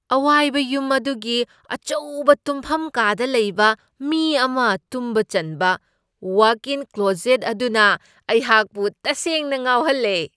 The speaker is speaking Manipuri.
ꯑꯋꯥꯏꯕ ꯌꯨꯝ ꯑꯗꯨꯒꯤ ꯑꯆꯧꯕ ꯇꯨꯝꯐꯝ ꯀꯥꯗ ꯂꯩꯕ ꯃꯤ ꯑꯃ ꯇꯨꯝꯕ ꯆꯟꯕ ꯋꯥꯛ ꯏꯟ ꯀ꯭ꯂꯣꯖꯦꯠ ꯑꯗꯨꯅ ꯑꯩꯍꯥꯛꯄꯨ ꯇꯁꯦꯡꯅ ꯉꯥꯎꯍꯜꯂꯦ꯫